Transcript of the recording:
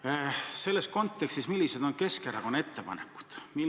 Millised on selles kontekstis Keskerakonna ettepanekud?